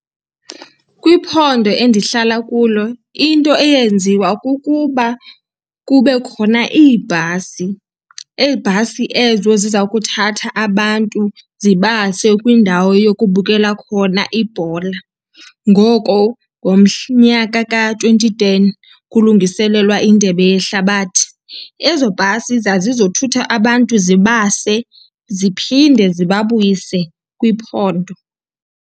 Kwiphondo endihlala kulo into eyenziwa kukuba kube khona iibhasi, iibhasi ezo ziza kuthatha abantu zibase kwindawo yokubukela khona ibhola. Ngoko nyaka ka-twenty ten kulungiselelwa iNdebe yeHlabathi, ezo bhasi zazizothutha abantu zibase ziphinde zibabuyise kwiphondo.